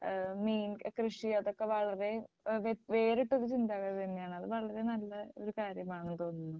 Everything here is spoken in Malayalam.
ഏഹ് മീൻകൃഷി അതൊക്കെ വളരെ വ്യ വേറിട്ട ഒരു ചിന്താഗതി അത് വളരെ നല്ലൊരു കാര്യമാണെന്ന് തോന്നുന്നു.